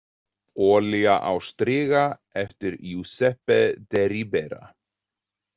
Olía á striga eftir Jusepe de Ribera.